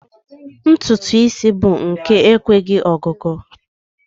Ntụtụ isi mmadụ bụ nke enweghị ọgụgụ